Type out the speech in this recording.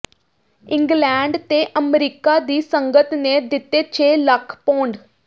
England ਤੇ ਅਮਰੀਕਾ ਦੀ ਸੰਗਤ ਨੇ ਦਿੱਤੇ ਛੇ ਲੱਖ ਪੌਂਡ